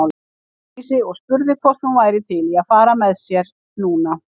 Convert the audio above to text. Ásdísi og spurði hvort hún væri til í að fara með sér núna.